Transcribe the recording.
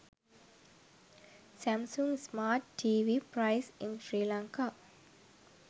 samsung smart tv price in sri lanka